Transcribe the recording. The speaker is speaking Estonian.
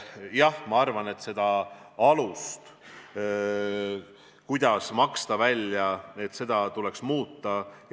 Jah, ma arvan, et seda alust, kuidas välja maksta, tuleks muuta.